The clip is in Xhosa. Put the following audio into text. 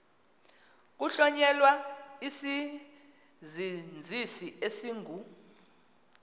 kuhlonyelwa isizinzisi esingu